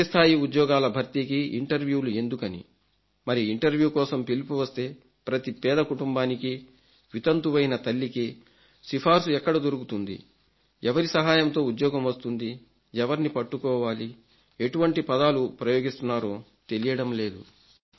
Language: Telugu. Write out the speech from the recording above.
కిందిస్థాయి ఉద్యోగాల భర్తీకి ఇంటర్వ్యూలు ఎందుకని మరి ఇంటర్వ్యూ కోసం పిలుపు వస్తే ప్రతి పేద కుటుంబానికి వితంతువైన తల్లికి సిఫార్సు ఎక్కడ దొరుకుతుంది ఎవరి సహాయంతో ఉద్యోగం వస్తుంది ఎవరిని పట్టుకోవాలి ఎటువంటి పదాలు ప్రయోగిస్తున్నారో తెలియడం లేదు